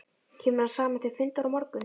Kemur hann saman til fundar á morgun?